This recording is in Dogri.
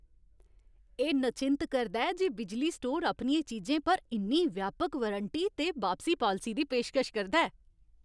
एह् नचिंत करदा ऐ जे बिजली स्टोर अपनियें चीजें पर इन्नी व्यापक वारंटी ते बापसी पालसी दी पेशकश करदा ऐ।